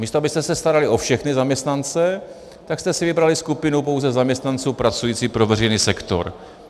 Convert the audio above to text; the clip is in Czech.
Místo abyste se starali o všechny zaměstnance, tak jste si vybrali skupinu pouze zaměstnanců pracujících pro veřejný sektor.